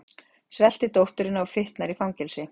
Svelti dótturina og fitnar í fangelsi